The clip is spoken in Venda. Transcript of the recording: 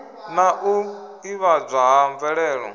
na u ḓivhadzwa ha mvelelo